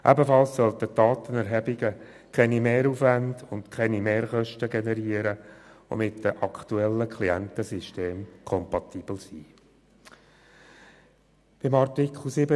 Ebenfalls sollte die Datenerhebung keine Mehraufwände und Mehrkosten generieren und mit den aktuellen Klientensystemen kompatibel sein.